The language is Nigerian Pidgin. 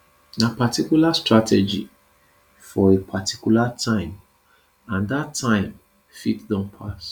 na particular strategy for a particular time and dat time fit don pass